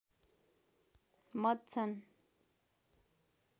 मत छन्